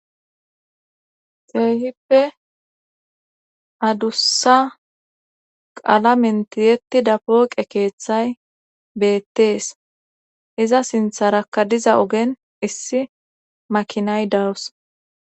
Keehippe adussa qala mentiyeti dapooqe keeththay beettees iza sintharakka diza ogen issi makinay dawus